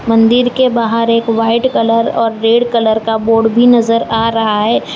मंदिर के बाहर एक व्हाइट कलर और रेड कलर का बोर्ड भी नजर आ रहा है।